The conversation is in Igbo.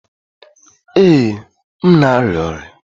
Ee, m na-arịa ọrịa